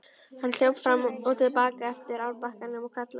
Hann hljóp fram og til baka eftir árbakkanum og kallaði.